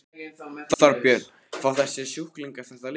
Þorbjörn: Fá þessir sjúklingar þetta lyf?